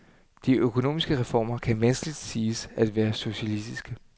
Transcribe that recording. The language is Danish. De økonomiske reformer kan vanskeligt siges at være socialistiske.